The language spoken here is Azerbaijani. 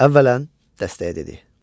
Əvvələn, dəstəyə dedi.